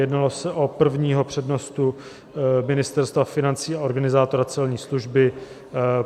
Jednalo se o prvního přednostu Ministerstva financí a organizátora celní služby.